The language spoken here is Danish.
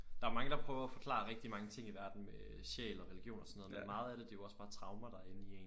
Der er jo mange der prøver at forklare rigtig mange ting i verden med sjæl og religion og sådan noget men meget af det er jo også bare traumer der er inde i en